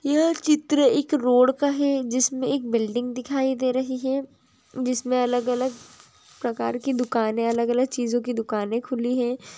यह चित्र एक रोड का है जिसमें एक बिल्डिंग दिखाई दे रही है जिसमें अलग अलग प्रकार की दुकानें अलग अलग चीजों की दुकानें खुली हैं